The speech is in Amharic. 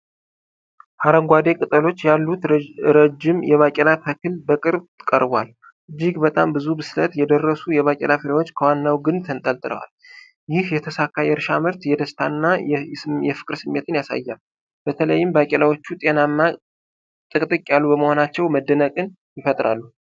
አረንጓዴ ቅጠሎች ያሉት ረጅም የባቄላ ተክል በቅርብ ቀርቦአል። እጅግ በጣም ብዙ ብስለት የደረሱ የባቄላ ፍሬዎች ከዋናው ግንድ ተንጠልጥለዋል። ይህ የተሳካ የእርሻ ምርት የደስታ እና የፍቅር ስሜትን ያሳያል፤ በተለይም ባቄላዎቹ ጤናማና ጥቅጥቅ ያሉ በመሆናቸው መደነቅን ይፈጥራሉ።